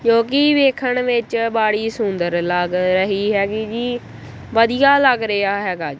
ਜੋ ਕੀ ਵੇਖਣ ਵਿੱਚ ਬਾੜੀ ਸੁੰਦਰ ਲੱਗ ਰਹੀ ਹੈਗੀ ਜੀ ਵਧੀਆ ਲੱਗ ਰਿਹਾ ਹੈਗਾ।